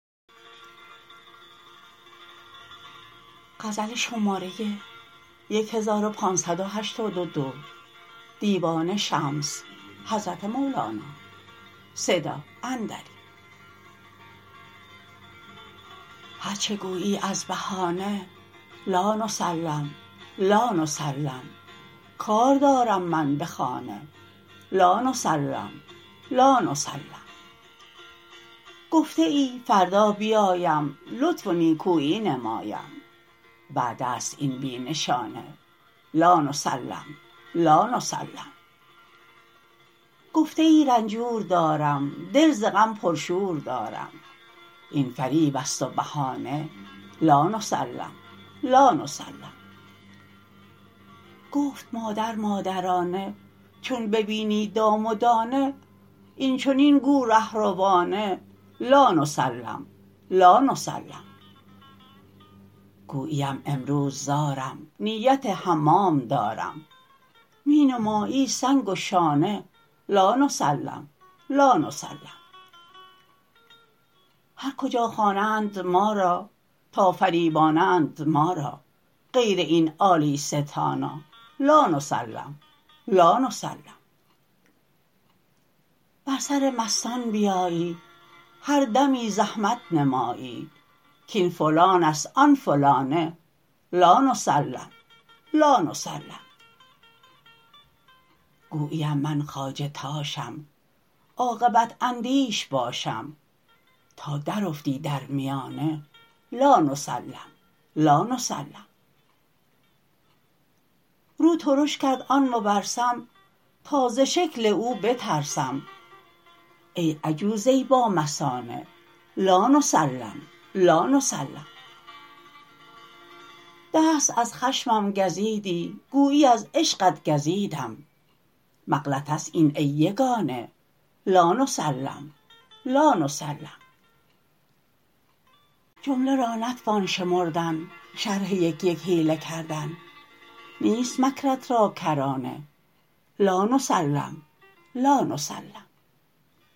هرچ گویی از بهانه لا نسلم لا نسلم کار دارم من به خانه لا نسلم لا نسلم گفته ای فردا بیایم لطف و نیکویی نمایم وعده ست این بی نشانه لا نسلم لا نسلم گفته ای رنجور دارم دل ز غم پرشور دارم این فریب است و بهانه لا نسلم لا نسلم گفت مادر مادرانه چون ببینی دام و دانه این چنین گو رهروانه لا نسلم لا نسلم گوییم امروز زارم نیت حمام دارم می نمایی سنگ و شانه لا نسلم لا نسلم هر کجا خوانند ما را تا فریبانند ما را غیر این عالی ستانه لا نسلم لا نسلم بر سر مستان بیایی هر دمی زحمت نمایی کاین فلان است آن فلانه لا نسلم لا نسلم گوییم من خواجه تاشم عاقبت اندیش باشم تا درافتی در میانه لا نسلم لا نسلم رو ترش کرد آن مپرسم تا ز شکل او بترسم ای عجوزه بامثانه لا نسلم لا نسلم دست از خشمم گزیدی گویی از عشقت گزیدم مغلطه است این ای یگانه لا نسلم لا نسلم جمله را نتوان شمردن شرح یک یک حیله کردن نیست مکرت را کرانه لا نسلم لا نسلم